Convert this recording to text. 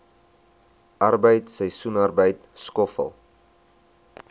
arbeid seisoensarbeid skoffel